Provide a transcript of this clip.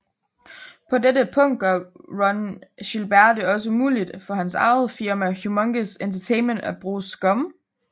På dette punkt gør Ron Gilbert det også muligt for hans eget firma Humongous Entertainment at bruge SCUMM